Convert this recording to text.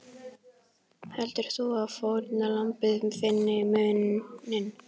Heldur þú að fórnarlambið finni muninn?